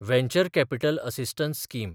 venture capital assistance scheme